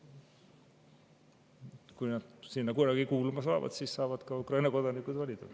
Kui nad sinna kunagi kuuluvad, siis saavad ka Ukraina kodanikud valida.